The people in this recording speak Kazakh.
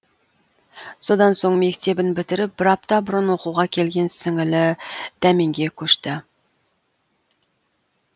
содан соң мектебін бітіріп бір апта бұрын оқуға келген сіңілі дәменге көшті